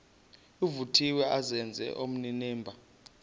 vuthiwe azenze onenimba